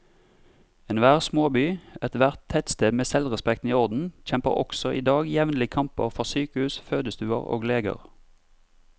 Enhver småby, ethvert tettsted med selvrespekten i orden, kjemper også i dag jevnlige kamper for sykehus, fødestuer og leger.